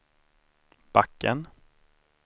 backen